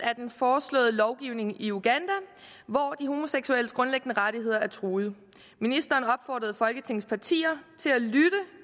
er den foreslåede lovgivning i uganda hvor de homoseksuelles grundlæggende rettigheder er truede ministeren opfordrede folketingets partier